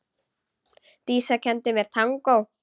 Dísa kenndi mér tangó.